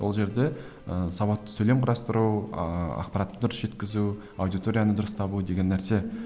ол жерде ііі сауатты сөйлем құрастыру ыыы ақпаратты дұрыс жеткізу аудиторияны дұрыс табу деген нәрсе